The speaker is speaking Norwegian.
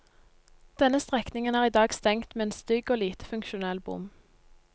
Denne strekningen er i dag stengt med en stygg og lite funksjonell bom.